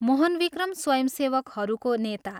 मोहनविक्रम स्वयंसेवकहरूको नेता।